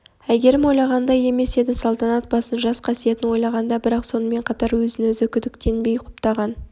әйгерім ойлағандай емес еді салтанат басын жас қасиетін ойлағанда бірақ сонымен қатар өзін-өзі күдіктенбей құптаған